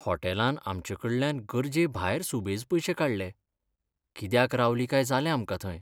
हॉटेलान आमचे कडल्यान गरजेभायर सुबेज पयशे काडले, कित्याक रावलीं काय जालें आमकां थंय.